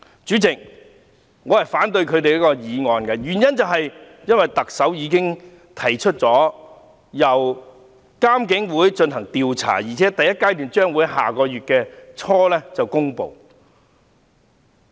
主席，我反對他們的議案，原因是特首已提出由獨立監察警方處理投訴委員會進行調查，而且第一階段報告將於下月初公布。